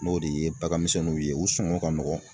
N'o de ye bagan misɛnninw ye u sɔngɔ ka nɔgɔn